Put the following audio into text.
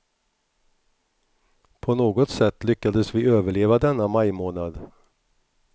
På något sätt lyckades vi överleva denna majmånad.